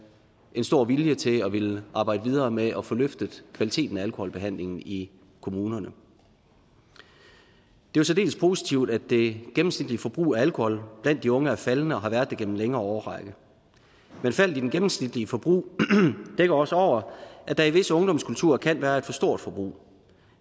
en stor vilje til at ville arbejde videre med at få løftet kvaliteten af alkoholbehandlingen i kommunerne det er særdeles positivt at det gennemsnitlige forbrug af alkohol blandt de unge er faldende og har været det gennem en længere årrække men faldet i det gennemsnitlige forbrug dækker også over at der i visse ungdomskulturer kan være et for stort forbrug